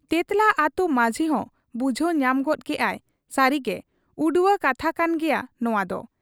ᱛᱮᱸᱛᱞᱟ ᱟᱹᱛᱩ ᱢᱟᱺᱡᱷᱤᱦᱚᱸ ᱵᱩᱡᱷᱟᱹᱣ ᱧᱟᱢ ᱜᱚᱫ ᱠᱮᱜ ᱟᱭ ᱥᱟᱹᱨᱤᱜᱮ ᱩᱲᱣᱟᱹ ᱠᱟᱛᱷᱟ ᱠᱟᱱ ᱜᱮᱭᱟ ᱱᱚᱶᱟᱫᱚ ᱾